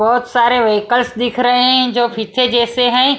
बहुत सारे व्हीकल्स दिख रहे हैं जो फीते जैसे हैं।